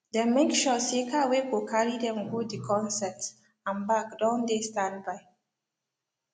dem make sure say car whey go carry dem go d concert and back don dey standby